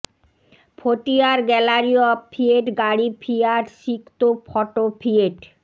ফটিয়ার gallery of Fiat গাড়ি Fiat সিক্তো photo Fiat